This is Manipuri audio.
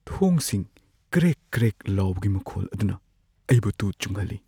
ꯊꯣꯡꯁꯤꯡ ꯀ꯭ꯔꯦꯛ-ꯀ꯭ꯔꯦꯛ ꯂꯥꯎꯕꯒꯤ ꯃꯈꯣꯜ ꯑꯗꯨꯅ ꯑꯩꯕꯨ ꯇꯨ ꯆꯨꯡꯍꯜꯂꯤ꯫